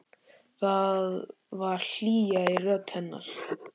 Það var hlýja í rödd hennar.